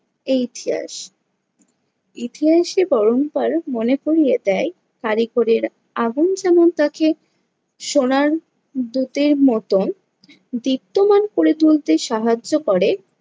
এই ইতিহাস। ইতিহাসকে মনে করিয়ে দেয় কারিগরের আগুন যেমন তাকে সোনার দূতের মতন দীপ্তমান করে তুলতে সাহায্য করে